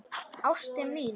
Ástin mín.